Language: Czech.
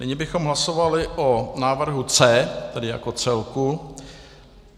Nyní bychom hlasovali o návrhu C, tedy jako celku.